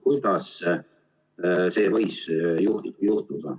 Kuidas see võis juhtuda?